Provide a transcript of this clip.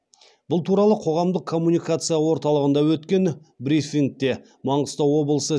бұл туралы қоғамдық коммуникация орталығында өткен брифингте маңғыстау облысы